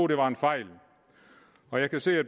det var en fejl jeg kan se at